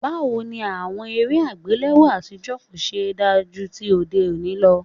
Báwo ni àwọn eré àgbéléwò àtijọ́ kò ṣe da ju tòde òní lọ?